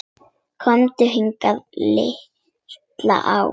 Komdu hingað, líttu á!